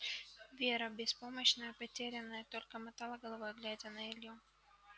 вера беспомощная потерянная только мотала головой глядя на илью